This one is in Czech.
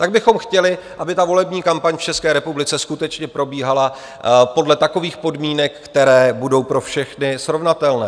Pak bychom chtěli, aby ta volební kampaň v České republice skutečně probíhala podle takových podmínek, které budou pro všechny srovnatelné.